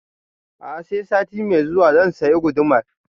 A'a sai sati mai zuwa zan saya gudumar